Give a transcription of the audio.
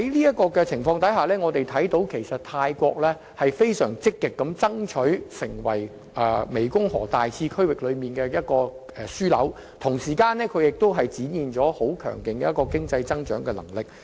在這情況下，泰國正積極爭取成為大湄公河次區域的樞紐，同時亦展現其強勁的經濟增長能力。